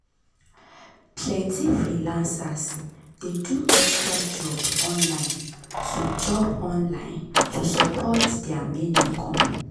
plenty freelancers dey do extra job online to job online to support their main income.